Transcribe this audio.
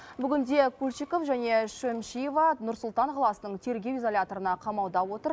бүгінде кульчиков және шәмшиева нұр сұлтан қаласының тергеу изоляторына қамауда отыр